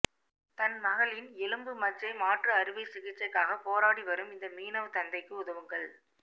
தன் மகளின் எலும்பு மஜ்ஜை மாற்று அறுவை சிகிச்சைக்காக போராடி வரும் இந்த மீனவ தந்தைக்கு உதவுங்கள்